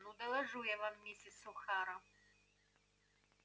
ну доложу я вам миссис охара